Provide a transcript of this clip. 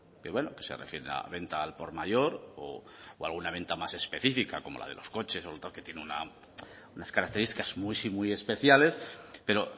que se refieren a venta al por mayor o alguna venta más específica como la de los coches u otros que tienen unas características muy especiales pero